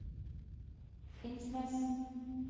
Finnsnes